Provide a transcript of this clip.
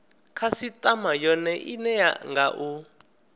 khasitama yone ine nga u